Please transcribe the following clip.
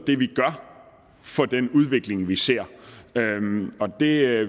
for den udvikling vi ser det er